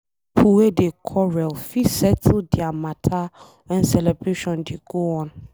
pipo wey dey quarrel fit settle dia matter wen celebration dey go on.